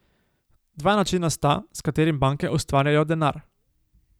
Dva načina sta, s katerim banke ustvarjajo denar.